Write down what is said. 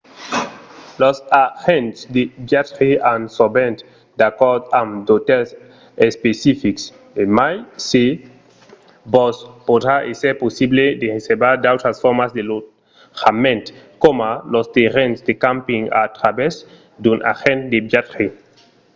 los agents de viatge an sovent d'acòrds amb d’otèls especifics e mai se vos podrà èsser possible de reservar d’autras formas de lotjament coma los terrenhs de camping a travèrs d’un agent de viatge